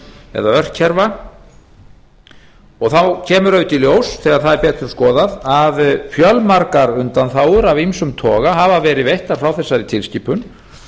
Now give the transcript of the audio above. eða örkerfa og þá kemur auðvitað í ljós þegar það er betur skoðað að fjölmargar undanþágur af ýmsum toga hafa verið veittar frá þessari tilskipun